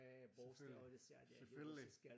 Selvfølgelig selvfølgelig